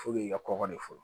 i ka kɔkɔ de fɔ